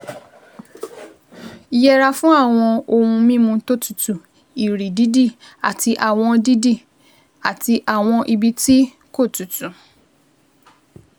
Yẹra fún àwọn ohun mímu tó tutù, ìrì dídì, àti àwọn dídì, àti àwọn ibi tí kò tutù